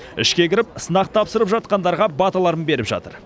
ішке кіріп сынақ тапсырып жатқандарға баталарын беріп жатыр